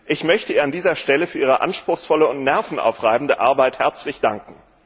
Ich möchte ihr an dieser Stelle für ihre anspruchsvolle und nervenaufreibende Arbeit herzlich danken.